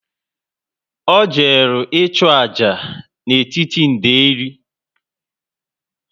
O jere i chu ájá n'etiti nderi